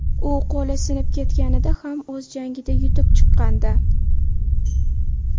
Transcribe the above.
U qo‘li sinib ketganida ham o‘z jangida yutib chiqqandi .